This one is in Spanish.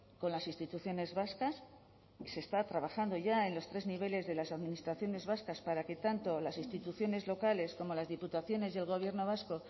con las instituciones vascas y se está trabajando ya en los tres niveles de las administraciones vascas para que tanto las instituciones locales como las diputaciones y el gobierno vasco